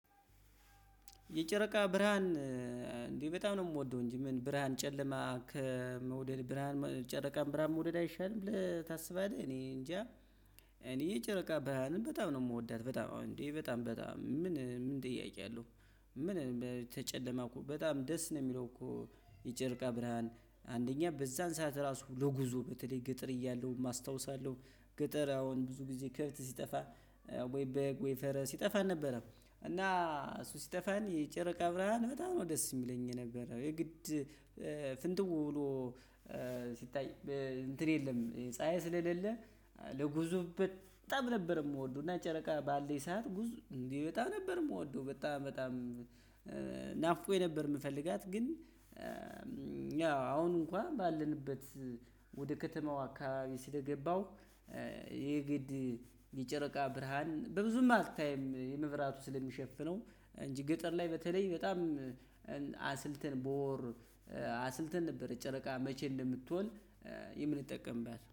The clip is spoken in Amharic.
የጨረቃ ብርሃን እንዴ በጣም ነው የምወደው እንጂ ምን ብርሃን ጨለማ ከመውደድ ብርሃን ጨረቃን ብርሃን መውደድ አይሻልም ብለህ ታስባለህ? እኔ እንጃ። እኔ ጨረቃ ብርሃንን በጣም ነው የምወዳት። በጣም አዎ እንዴ በጣም በጣም ምን ምን ጥያቄ አለው? ምን ከጨለማ እኮ በጣም ደስ ነው የሚለው እኮ። የጨርቃ ብርሃን አንደኛ በዛን ሰዓት ራሱ ለጉዞ በተለይ ገጠር እያለሁ አስታውሳለሁ። ገጠር አሁን ብዙ ጊዜ ከብት ሲጠፋ ወይ በግ ወይ ፈረስ ሲጠፋ ነበረ። እና እሱ ሲጠፋን የጨረቃ ብርሃን በጣም ነው ደስ የሚለኝ የነበረ የግድ ፍንትው ብሎ ሲታይ እንትን የለም። ፀሀይ ስለሌለ ለጉዞ በጣም ነበር የምወደው። እና ጨረቃ ባለች ሰዓት ጉዞ እንዲህ በጣም ነበር የምወደው። በጣም በጣም ናፍቆኝ ነበር የምፈልጋት ግን። ያው አሁን እንኳን ባለንበት ወደ ከተማው አካባቢ ስለገባው። የግድ የጨረቃ ብርሃን ብዙም አትታይም መብራቱ ስለሚሸፍነው። እንጂ ገጠር ላይ በተለይ በጣም አስልተን በወር አስልተን ነበር ጨረቃ መቼ እንደምትወለድ የምንጠቀምባት